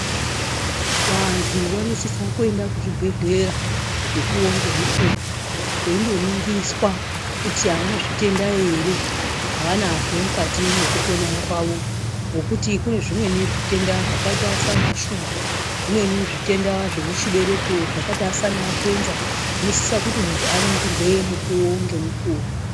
Vantu vanosisa kuyenda kuchibhedhleya, mukuwo ngemukuwo. Veyindoningiswa kuti havana zvitenda here, havanazvo mukati mwekupona kwavo, ngokuti kunezvimweni zvitenda zvakayita sana shuga. Zvimweni zvitenda zvimuchibereko zvakayita sana khensa. Munosisa kuti muntu aningirwe mukuwo ngemukuwo.